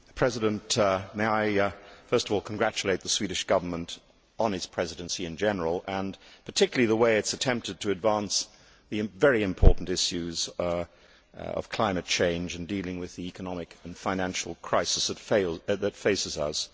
Mr President, may I first of all congratulate the Swedish Government on its Presidency in general and particularly on the way it has attempted to advance the very important issues of climate change and dealing with the economic and financial crisis that faces us.